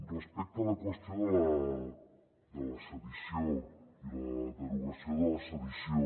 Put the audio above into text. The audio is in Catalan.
respecte a la qüestió de la sedició i la derogació de la sedició